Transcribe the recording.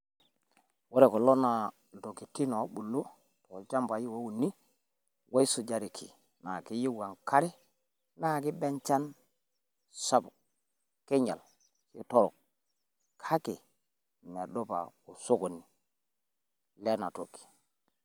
Ore kulo iltokitin oo bulu too ilchambai ouni oil sujareki naa keyieu enkare naa keiba enchan sapuk keinyial keitorok. Kake medupa osokoni lena toki.